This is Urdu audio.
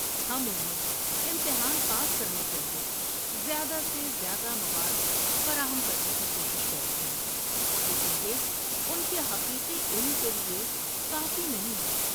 ہم انہیں امتحان پاس کرنے کے لیے زیادہ سے زیادہ مواد فراہم کرنے کی کوشش کر رہے ہیں لیکن یہ ان کے حقیقی علم کے لیے کافی نہیں ہے۔